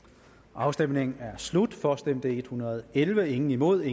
afstemningen er slut for stemte en hundrede og elleve imod